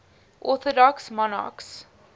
orthodox monarchs